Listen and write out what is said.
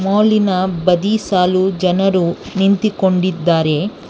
ಮಾಲಿ ನ ಬದಿ ಸಾಲು ಜನರು ನಿಂತಿಕೊಂಡಿದ್ದಾರೆ.